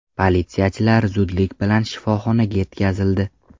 Politsiyachilar zudlik bilan shifoxonaga yetkazildi.